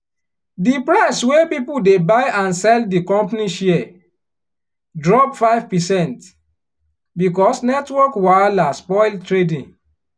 di price wey people dey buy and sell di company share drop five percent because network wahala spoil trading.